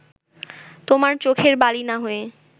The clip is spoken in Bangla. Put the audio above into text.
তোমার চোখের বালি না হয়ে